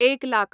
एक लाख